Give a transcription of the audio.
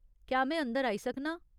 क्या में अंदर आई सकनां ?